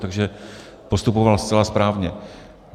Takže postupoval zcela správně.